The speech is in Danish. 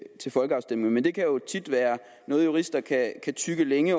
til folkeafstemning men det kan jo tit være noget jurister kan tygge længe